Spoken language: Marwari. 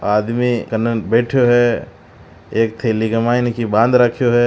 आदमी कने बैठ्यो है एक थैली में की बांध राख्यो है।